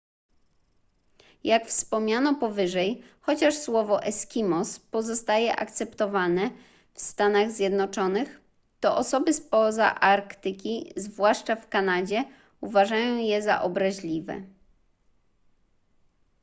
jak wspomniano powyżej chociaż słowo eskimos pozostaje akceptowane w stanach zjednoczonych to osoby spoza arktyki zwłaszcza w kanadzie uważają je za obraźliwe